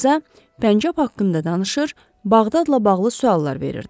Qıza pəncəb haqqında danışır, Bağdadla bağlı suallar verirdi.